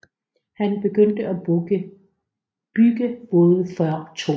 Han begyndte at bygge både før 2